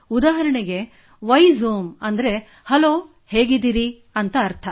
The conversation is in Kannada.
ಉದಾಹರಣೆಗೆ ವೈಝೋಮ್ ಎಂದರೆ ಹಲ್ಲೊ ಹೇಗಿದ್ದೀರಿ ಎಂದರ್ಥ